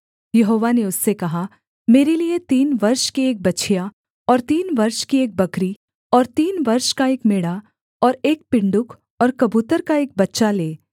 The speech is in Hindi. यहोवा ने उससे कहा मेरे लिये तीन वर्ष की एक बछिया और तीन वर्ष की एक बकरी और तीन वर्ष का एक मेढ़ा और एक पिण्डुक और कबूतर का एक बच्चा ले